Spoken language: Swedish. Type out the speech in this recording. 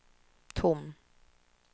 tom